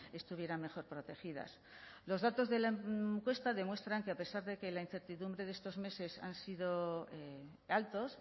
estuvieran mejor protegidas los datos de la encuesta demuestran que a pesar de que la incertidumbre de estos meses han sido altos